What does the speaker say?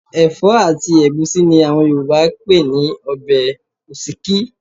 Ẹ̀fọ́ àti ẹ̀gúsí ni àwọn Yorùbá ń pè ní ọbẹ̀ òsíkí